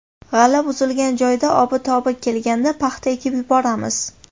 G‘alla buzilgan joyda obi-tobi kelganda paxta ekib yuboramiz.